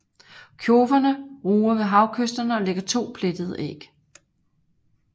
Kjoverne ruger ved havkysterne og lægger 2 plettede æg